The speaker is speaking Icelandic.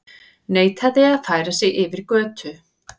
Neitaði að færa sig yfir götu